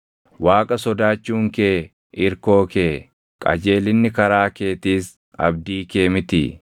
Waaqa sodaachuun kee irkoo kee, qajeelinni karaa keetiis abdii kee mitii?